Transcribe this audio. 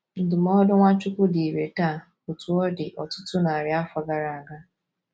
Ndụmọdụ Nwachukwu dị irè taa otú ọ dị ọtụtụ narị afọ gara aga.